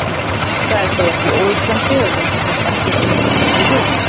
Það er þó ekki óhugsandi að heimskreppan geti breytt þeirri röðun.